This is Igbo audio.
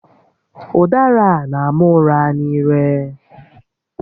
Ụdara a n'ama ụra n'ire